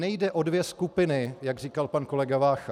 Nejde o dvě skupiny, jak říkal pan kolega Vácha.